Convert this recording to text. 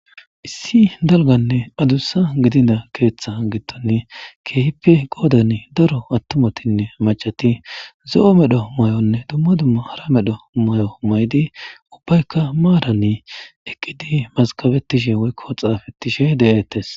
Issi dalganne adussa gidina keeththa gitton keehippe goodan daro attumotinne macati zo'o medho may'onne dumma dumma hara medho may'o may'di ubbaykka maarani eqqidi maskabetishe woykko xaafettishe de'ettes.